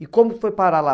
E como foi parar lá?